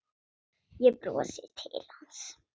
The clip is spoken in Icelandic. Ég brosi til hans.